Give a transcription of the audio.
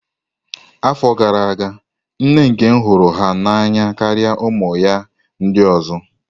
Afọ gara aga, nna nkem hụrụ ya n'anya karịa ụmụ ya ndị ọzọ.